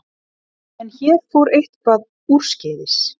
En hér fór eitthvað úrskeiðis.